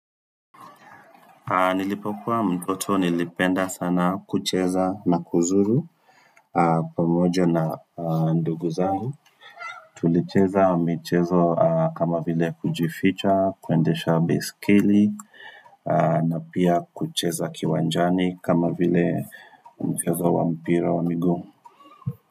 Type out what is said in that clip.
Nilipokuwa mtoto nilipenda sana kucheza na kuzuru pamoja na ndugu zangu Tulicheza michezo kama vile kujificha, kuendesha beisikeli na pia kucheza kiwanjani kama vile umichezo wa mpira wa migu.